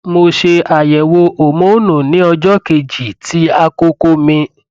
mo ṣe àyẹwò homonu ní ọjọ kejì ti akoko mi